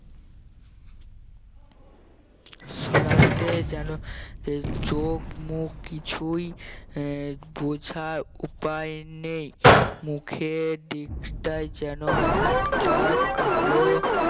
সরাতে যেন চোখ মুখ দুই আহ বোঝার উপায় নেই মুখের দিকটা যেন একটা কালো